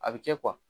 A bɛ kɛ